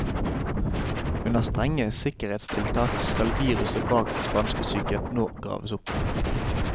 Under strenge sikkerhetstiltak skal viruset bak spanskesyken nå graves opp.